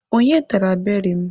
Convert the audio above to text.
Onye tara beri m?